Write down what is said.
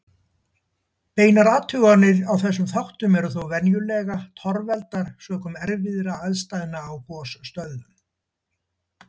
Beinar athuganir á þessum þáttum eru þó venjulega torveldar sökum erfiðra aðstæðna á gosstöðvum.